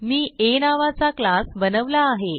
मी आ नावाचा क्लास बनवला आहे